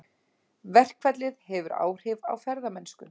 Verkfallið hefur áhrif á ferðamennsku